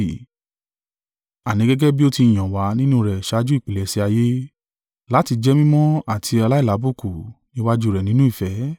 Àní, gẹ́gẹ́ bí o ti yàn wá nínú rẹ̀ ṣáájú ìpilẹ̀ṣẹ̀ ayé, láti jẹ́ mímọ́ àti aláìlábùkù níwájú rẹ̀ nínú ìfẹ́